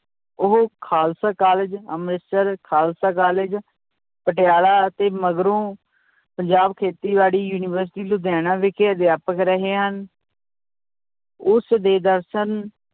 ਉਹ Khalsa college Amritsar Khalsa college Patiala ਅਤੇ ਮਗਰੋਂ ਪੰਜਾਬ ਖੇਤੀਬਾੜੀ university ਲੁਧਿਆਣਾ ਵਿਖੇ ਅਧਿਆਪਕ ਰਹੇ ਹਨ ਉਸਦੇ ਦਰਸ਼ਨ